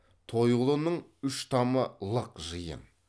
тойғұлының үш тамы лық жиын